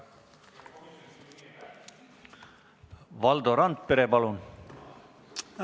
Valdo Randpere, palun!